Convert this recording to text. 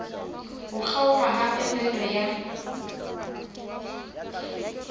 ho kgaoha ha phepelo ya